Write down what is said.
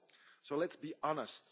So let's be honest